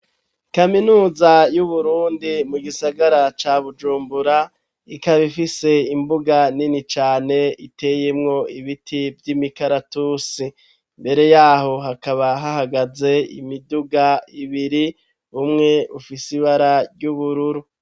Kaminuza y'uburundi mu gisagara ca bujumbura ikabifise imbuga nini cane iteyemwo ibiti vy'imikaratusi mbere yaho hakaba hahagaze imiduga ibiri umwe ufise ibara ry'ubururu.